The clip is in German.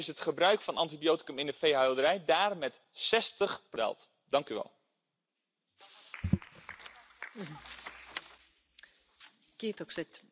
werden. Abschließend möchte ich der Kollegin Kadenbach herzlich für diesen Bericht danken, und ich hoffe, dass er mit großer Mehrheit angenommen wird.